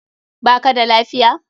Ba ka da lafiya?